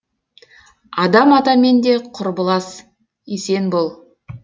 адам атамен де құрбылас есен бол